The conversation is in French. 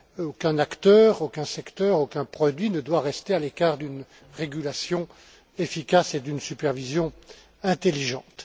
Aucun acteur, aucun secteur, aucun produit ne doit rester à l'écart d'une régulation efficace et d'une supervision intelligente.